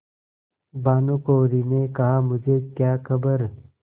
भानुकुँवरि ने कहामुझे क्या खबर